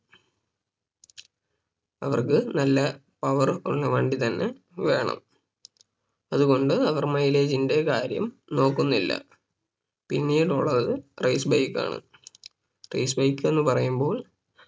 അവർക്ക് നല്ല Power ഉള്ള വണ്ടി തന്നെ വേണം അതുകൊണ്ട് അവര് Mileage ന്റെ കാര്യം നോക്കുന്നില്ല പിന്നീടുള്ളത് Race bike ആണ് Race bike എന്ന് പറയുമ്പോൾ